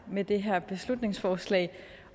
med det her beslutningsforslag